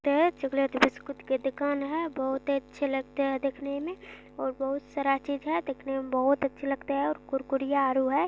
Chocolate biscuit की दुकान है बहुत ही अच्छे लगते है दिखने में और बहुत सारा चीज है दिखने में बहुत अच्छे लगते है कुर कुरिया आउरी है।